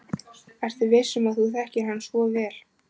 Ertu viss um að þú þekkir hann svo vel?